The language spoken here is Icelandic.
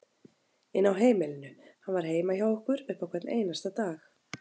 inn á heimilinu, hann var heima hjá okkur upp á hvern einasta dag.